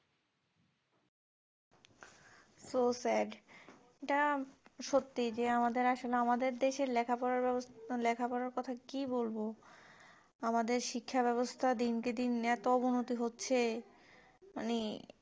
so sad এটা সত্যি যে আমাদের আসলে আমাদের দেশ এর লেখা পড়া ব্যবস্থা লেখা পড়ার কথা কি বলবো আমাদের শিক্ষা ব্যবস্থ্যা দিনকে দিন এতো অবনতি হচ্ছে